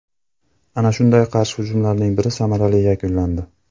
Ana shunday qarshi hujumlarning biri samarali yakunlandi.